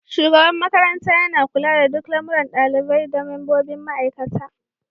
Shugaban makarantar yana kula da duk lamuran ɗalibai da membobin ma'aikata.